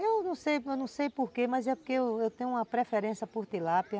Eu não sei, eu não sei por quê, mas é porque eu tenho uma preferência por tilápia.